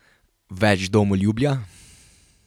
Več domoljubja?